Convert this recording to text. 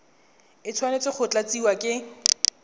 e tshwanetse go tlatsiwa ke